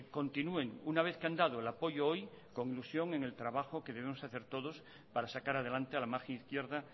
continúen una vez que han dado el apoyo hoy con ilusión en el trabajo que debemos hacer todos para sacar adelante a la margen izquierda